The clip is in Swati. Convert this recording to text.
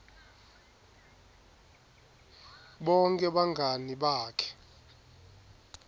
bonkhe bangani bakhe